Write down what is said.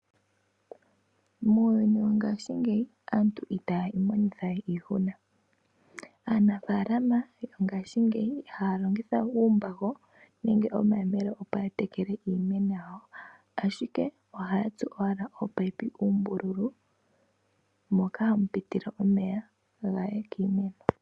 Muuyuni wongashingeyi aantu itaya imonitha we iihuna. Aanafaalama yongashingeyi ihaya longitha we uumbago nenge omayemele opo ya tekele iimeno yawo, ashike ohaya tsu owala ominino dhomeya uumbululu moka hamu pitile omeya gaye kiimeno.